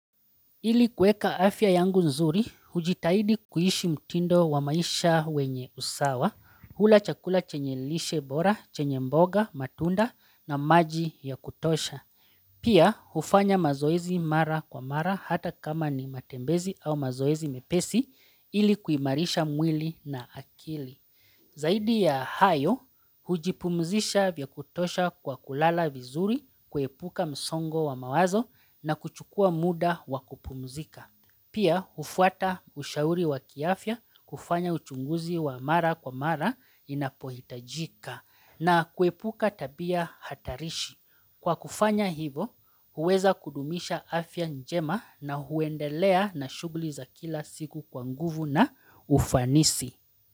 Ili kuweka afya yangu nzuri, hujitahidi kuishi mtindo wa maisha wenye usawa, hula chakula chenye lishe bora, chenye mboga, matunda na maji ya kutosha. Pia, hufanya mazoezi mara kwa mara hata kama ni matembezi au mazoezi mepesi, ili kuimarisha mwili na akili. Zaidi ya hayo, hujipumzisha vya kutosha kwa kulala vizuri, kuepuka msongo wa mawazo na kuchukua muda wa kupumzika. Pia, hufuata ushauri wa kiafya kufanya uchunguzi wa mara kwa mara inapohitajika na kuepuka tabia hatarishi. Kwa kufanya hivo, huweza kudumisha afya njema na huendelea na shughuli za kila siku kwa nguvu na ufanisi.